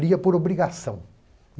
Lia por obrigação.